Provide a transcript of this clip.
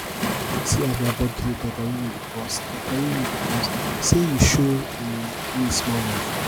see as my bodi dey totori me because totori me because sey you show um me small love